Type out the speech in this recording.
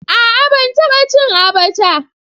A'a ban taba cin abacha.